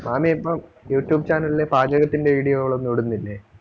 മാമി ഇപ്പം youtube channel ലെ പാചകത്തിന്റെ video കള് ഒന്നും ഇടുന്നില്ലേ?